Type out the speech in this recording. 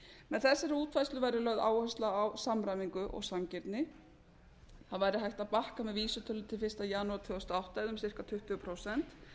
með þessari útfærslu verður lögð áhersla á samræmingu og sanngirni það væri hægt að bakka með vísitölu til fyrsta janúar tvö þúsund og átta eða um ca tuttugu prósent